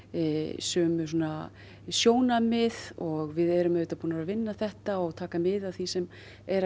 sömu sjónarmið og við erum auðvitað búin að vinna þetta og taka mið af því sem er að